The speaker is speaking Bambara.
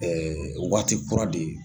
waagati kura de.